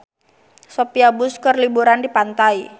Sophia Bush keur liburan di pantai